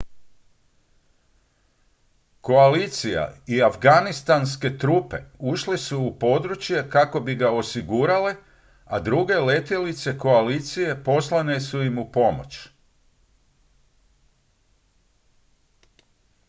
koalicija i afganistanske trupe ušle su u područje kako bi ga osigurale a druge letjelice koalicije poslane su im upomoć